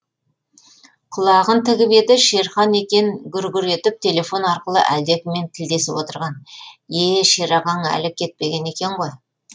құлағын тігіп еді шерхан екен гүр гүр етіп телефон арқылы әлдекіммен тілдесіп отырған е е шерағаң әлі кетпеген екен ғой